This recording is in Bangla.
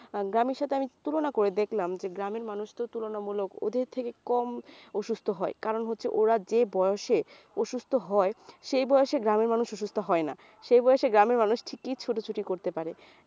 আহ গ্রামের সাথে আমি তুলনা করে দেখলাম যে গ্রামের মানুষ তো তুলনামূলক ওদের থেকে কম অসুস্থ হয় কারণ হচ্ছে ওরা যে বয়সে অসুস্থ হয় সেই বয়সে গ্রামের মানুষ অসুস্থ হয়না সেই বয়সে গ্রামের মানুষ ঠিকই ছুটোছুটি করতে পারে